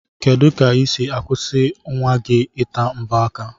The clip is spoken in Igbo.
Kedu ka isi akwụsi nwa gi ita mbo aka?